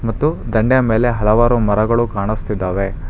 ಮತ್ತು ದಂಡೆಯ ಮೇಲೆ ಹಲವಾರು ಮರಗಳು ಕಾಣಿಸ್ತಿದ್ದಾವೆ.